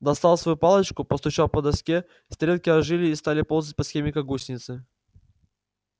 достал свою палочку постучал по доске стрелки ожили и стали ползать по схеме как гусеницы